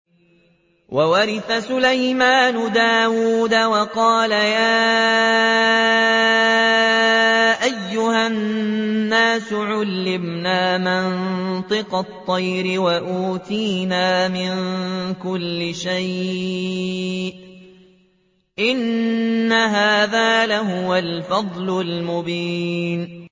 وَوَرِثَ سُلَيْمَانُ دَاوُودَ ۖ وَقَالَ يَا أَيُّهَا النَّاسُ عُلِّمْنَا مَنطِقَ الطَّيْرِ وَأُوتِينَا مِن كُلِّ شَيْءٍ ۖ إِنَّ هَٰذَا لَهُوَ الْفَضْلُ الْمُبِينُ